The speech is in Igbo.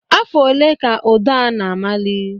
Afọ ole ka ụdọ a na-amali?